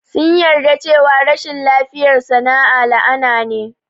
Sun yarda cewa rashin lafiyar sa na la'ana ne.